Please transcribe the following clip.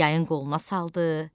Yayın qoluna saldı,